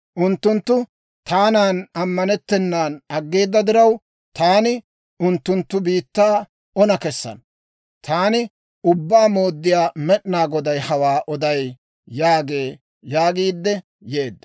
Unttunttu taanan ammanettennan aggeeda diraw, taani unttunttu biittaa ona kesana. Taani Ubbaa Mooddiyaa Med'inaa Goday hawaa oday› yaagee» yaagiidde yeedda.